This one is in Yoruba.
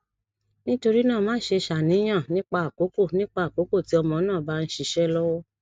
nitorina maṣe ṣàníyàn nipa akoko nipa akoko ti ọmọ naa ba nṣiṣe lọwọ